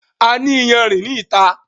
A ní iyanrìn ní ìta